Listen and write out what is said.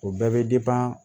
O bɛɛ bɛ